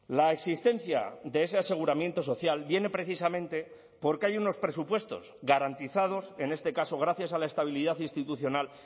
la existencia de ese aseguramiento social viene precisamente porque hay unos presupuestos garantizados en este caso gracias a la estabilidad institucional